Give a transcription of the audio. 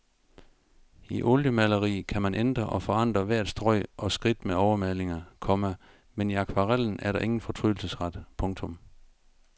I oliemaleri kan man ændre og forandre hvert strøg og skridt med overmalinger, komma men i akvarellen er der ingen fortrydelsesret. punktum